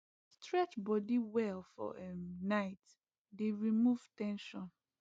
stretch body well for um night dey remove ten sion